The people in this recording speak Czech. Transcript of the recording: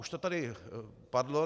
Už to tady padlo.